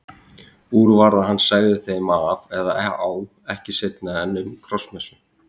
Úr varð að hann segði þeim af eða á ekki seinna en um Krossmessu.